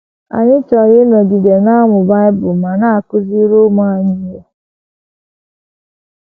Anyị chọrọ ịnọgide na - amụ Bible ma na - akụziri ụmụ anyị ihe. ”